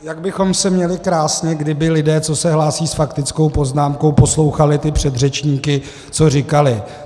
Jak bychom se měli krásně, kdyby lidé, co se hlásí s faktickou poznámkou, poslouchali ty předřečníky, co říkali.